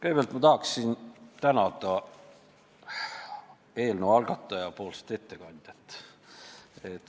Kõigepealt tahaksin ma tänada eelnõu algataja poolset ettekandjat.